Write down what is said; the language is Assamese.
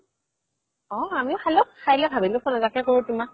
অ আমিও খালো খাই লই ভাবিলো phone এটাকে কৰো তোমাক